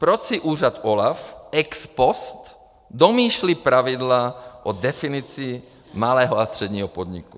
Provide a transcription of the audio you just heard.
Proč si úřad OLAF ex post domýšlí pravidla o definici malého a středního podniku?